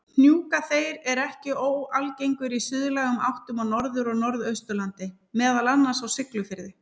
Hnjúkaþeyr er ekki óalgengur í suðlægum áttum á Norður- og Norðausturlandi, meðal annars á Siglufirði.